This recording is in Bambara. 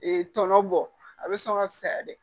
Ee tɔnɔ bɔ a bɛ sɔn ka fisaya de